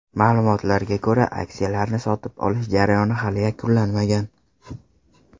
Ma’lumotlarga ko‘ra, aksiyalarni sotib olish jarayoni hali yakunlanmagan.